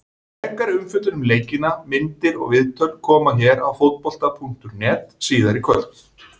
Frekari umfjöllun um leikina, myndir og viðtöl, koma hér á Fótbolta.net síðar í kvöld.